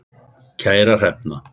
Kæra Hrefna.